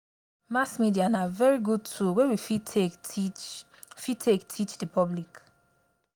mass media na very good tool wey we fit take teach fit take teach public